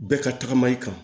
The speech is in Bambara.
Bɛɛ ka tagama i kan